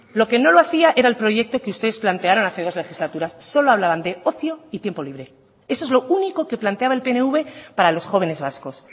lo que no lo hacía era el proyecto que ustedes plantearon hace dos legislaturas solo hablaban de ocio y tiempo libre eso es lo único que planteaba el pnv para los jóvenes vascos